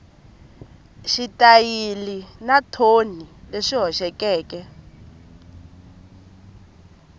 xitayili na thoni leswi hoxekeke